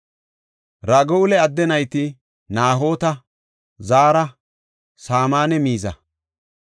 Ragu7eela adde nayti Nahoota, Zaara, Saamanne Miza.